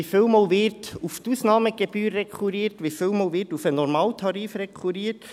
Wie viele Male wird auf die Ausnahmegebühr rekurriert, wie viele Male wird auf den Normaltarif rekurriert?